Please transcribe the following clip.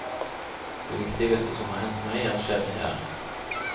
Det viktigste som har hendt meg, er skjedd her.